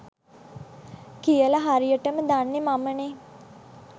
කියල හරියටම දන්නේ මමනේ.